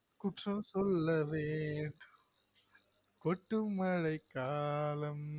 குற்றம் சொல்ல வேண்டும் கொட்டும் மழை காலம்